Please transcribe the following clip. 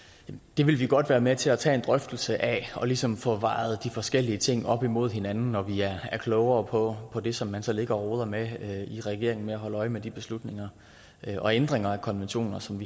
det vil vi godt være med til at tage en drøftelse af og ligesom få vejet de forskellige ting op imod hinanden når vi er klogere på det som man så ligger og roder med i regeringen med at holde øje med de beslutninger og ændringer af konventioner som